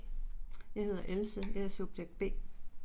Jeg hedder Else, jeg er subjekt B